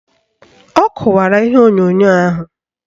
Ọ kụwara ihe onyonyo ahụ